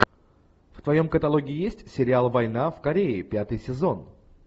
в твоем каталоге есть сериал война в корее пятый сезон